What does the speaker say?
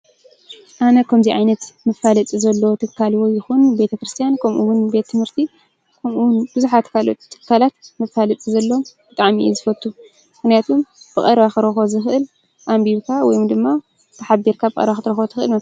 ኣነ ከምዙይ ዓይነት መፋለጢ ዘለዎ ትካል ውን ይኹን ቤተ-ክርስትያን ከምኡውን ቤት ትምህርቲ ከምኡውን ብዙሓት ካልኦት ትካላት ክፋለጥ ተሎ ብጣዕሚ እየ ዝፈትው። ብቐረባ ክረኽቦ ዝኽእል ኣንቢብካ ወይ ድማ ተሓቢርካ ኣብ ቀረባ ክትረኽቦ ትኽእል።